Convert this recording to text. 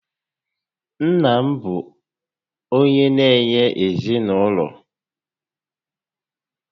Nna bụ onyé na-enye ezinaụlọ